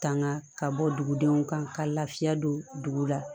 Tanga ka bɔ dugudenw kan ka lafiya don dugu la